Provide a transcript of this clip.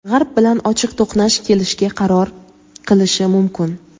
G‘arb bilan ochiq to‘qnash kelishga qaror qilishi mumkin.